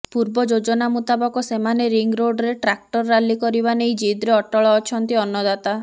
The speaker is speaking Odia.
ପୂର୍ବ ଯୋଜନା ମୁତାବକ ସେମାନେ ରିଙ୍ଗ ରୋଡ୍ରେ ଟ୍ରାକ୍ଟର ରାଲି କରିବା ନେଇ ଜିଦ୍ରେ ଅଟଳ ଅଛନ୍ତି ଅନ୍ନଦାତା